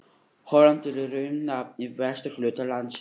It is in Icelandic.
Holland er í raun nafn á vesturhluta landsins.